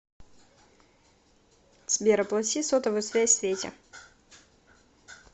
сбер оплати сотовую связь свете